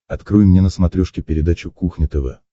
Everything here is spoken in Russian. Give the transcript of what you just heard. открой мне на смотрешке передачу кухня тв